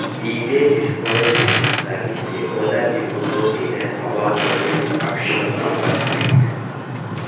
e dey discouraging to sabi say other pipo no dey learn about public reaction to outbreak